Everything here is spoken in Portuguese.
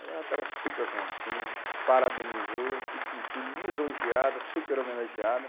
Aí ela estava super contente, parabenizou, se sentiu lisonjeada, super homenageada.